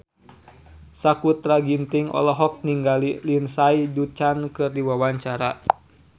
Sakutra Ginting olohok ningali Lindsay Ducan keur diwawancara